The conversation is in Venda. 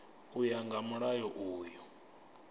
u ya nga mulayo uyu